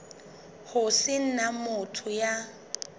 ho se na motho ya